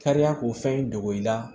Kariya ko fɛn dogo i la